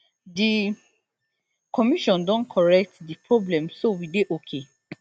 di commission don correct di problem so we dey okay